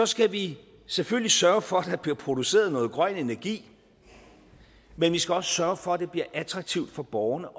skal vi selvfølgelig sørge for at der bliver produceret noget grøn energi men vi skal også sørge for at det bliver attraktivt for borgerne